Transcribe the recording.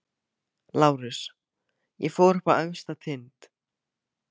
LÁRUS: Ég fór upp á efsta tind.